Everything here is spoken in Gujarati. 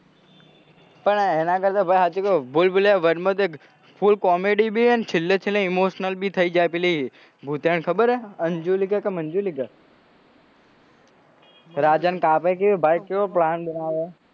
પણ એના કરતે સાચું કૌ ભૂલ ભુલૈયા one માં તો full comedy હે અને છેલ્લે છેલ્લે emotional થઇ જાય હે પેલી ભુતેણ ખબર હે અન્જુલીકા કે મન્જુલીકા રાજા ને કાપે કે ભાઈ ચેવો plan બનાવે હે